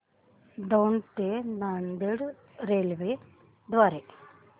दौंड ते नांदेड रेल्वे द्वारे